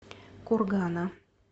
кургана